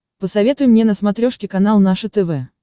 посоветуй мне на смотрешке канал наше тв